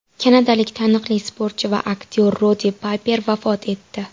Kanadalik taniqli sportchi va aktyor Roddi Payper vafot etdi .